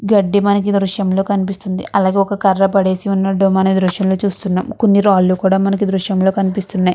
గడ్డి మనకి ఈ దృశ్యంలో కనిపిస్తుంది అలాగే ఒక కర్రే పడేసి వున్నటు మనం ఈ దృశ్యంలో చుస్తునాం కొన్ని రాళ్ళూ కూడా మనకి దృశ్యం లో కనిపిస్తునై.